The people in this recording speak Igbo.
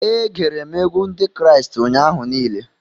E gere m egwu Ndị Kraịst ụnyaahụ niile